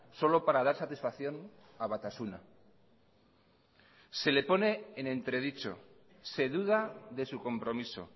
solo para dar satisfacción a batasuna se le pone en entre dicho se duda de su compromiso